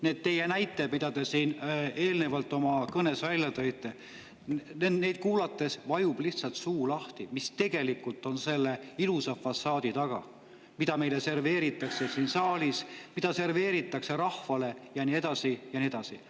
Need teie näited, mida te siin eelnevalt oma kõnes tõite – neid kuulates vajub lihtsalt suu lahti, mis tegelikult on selle ilusa fassaadi taga, mida meile serveeritakse siin saalis, mida serveeritakse rahvale ja nii edasi ja nii edasi.